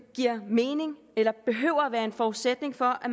giver mening eller behøver at være en forudsætning for at